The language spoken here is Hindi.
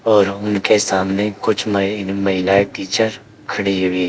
और उनके सामने कुछ नई महिलाएं टीचर खड़ी हुई है।